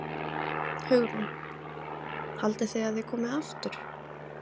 Hugrún: Haldið þið að þið komið aftur?